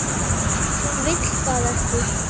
Hún vill það ekki.